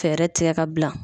Fɛɛrɛ tigɛ ka bila